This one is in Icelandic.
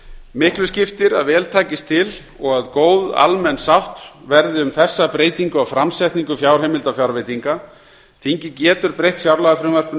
miklu skiptir að vel takist til og að góð almenn sátt verði um þessa breytingu á framsetningu fjárheimilda og fjárveitinga þingið getur breytt fjárlagafrumvarpinu